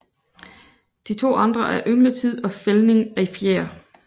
De to andre er yngletid og fældning af fjer